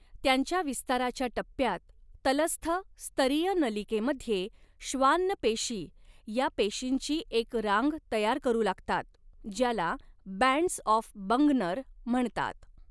त्यांच्या विस्ताराच्या टप्प्यात, तलस्थ स्तरीय नलिकेमध्ये श्वान्न पेशी या पेशींची एक रांग तयार करू लागतात ज्याला 'बँड्स ऑफ बंगनर' म्हणतात.